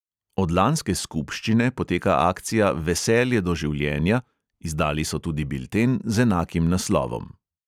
Od lanske skupščine poteka akcija veselje do življenja, izdali so tudi bilten z enakim naslovom.